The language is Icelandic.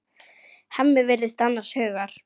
Hemmi virðist annars hugar.